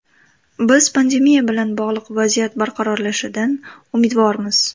Biz pandemiya bilan bog‘liq vaziyat barqarorlashishidan umidvormiz.